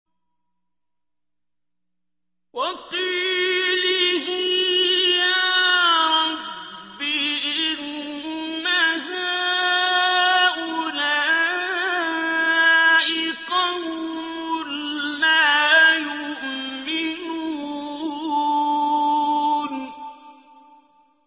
وَقِيلِهِ يَا رَبِّ إِنَّ هَٰؤُلَاءِ قَوْمٌ لَّا يُؤْمِنُونَ